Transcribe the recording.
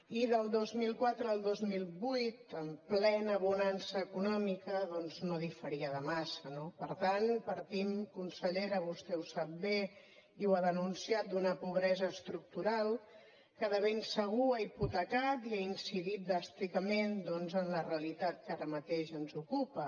i del dos mil quatre al dos mil vuit en plena bonança econòmica doncs no diferia de massa no per tant partim consellera vostè ho sap bé i ho ha denunciat d’una pobresa estructural que de ben segur ha hipotecat i ha incidit dràsticament doncs en la realitat que ara mateix ens ocupa